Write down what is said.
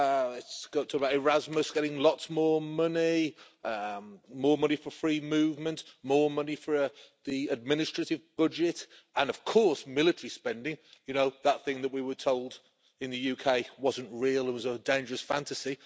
It talks about Erasmus getting lots more money, more money for free movement, more money for the administrative budget and of course military spending you know, that thing that we were told in the UK wasn't real and was a dangerous fantasy.